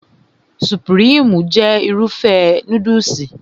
Supirimu jẹ́ Irúfẹ́ núdùsì